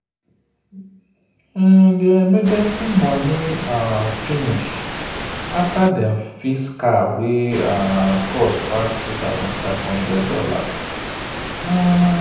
their emergency money um finish after dem fix car wey um cost pass $2500. um